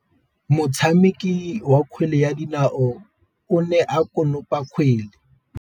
Motshameki wa kgwele ya dinaô o ne a konopa kgwele.